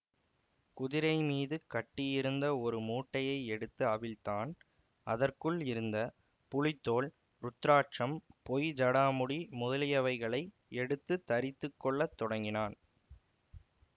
குதிரை மீது கட்டியிருந்த ஒரு மூட்டையை எடுத்து அவிழ்த்தான் அதற்குள் இருந்த புலித்தோல் ருத்திராட்சம் பொய் ஜடாமுடி முதலியவைகளை எடுத்து தரித்துக் கொள்ள தொடங்கினான்